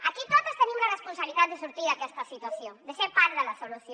aquí totes tenim la responsabilitat de sortir d’aquesta situació de ser part de la solució